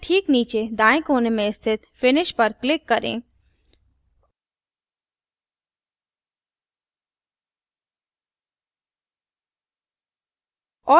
wizard के ठीक नीचे दाएँ कोने में स्थित finish पर click करें